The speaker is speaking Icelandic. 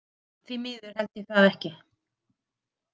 Því miður held ég það ekki.